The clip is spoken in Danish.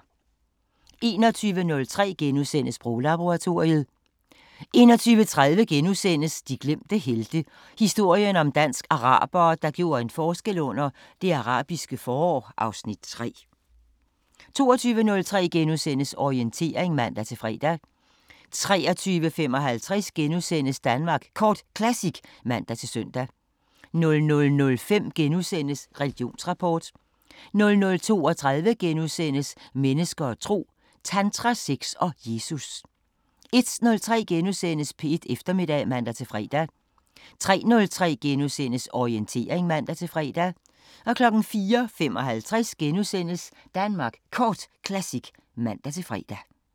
21:03: Sproglaboratoriet * 21:30: De glemte helte – historien om dansk-arabere, der gjorde en forskel under Det Arabiske forår (Afs. 3)* 22:03: Orientering *(man-fre) 23:55: Danmark Kort Classic *(man-søn) 00:05: Religionsrapport * 00:32: Mennesker og tro: Tantra, sex og Jesus * 01:03: P1 Eftermiddag *(man-fre) 03:03: Orientering *(man-fre) 04:55: Danmark Kort Classic *(man-fre)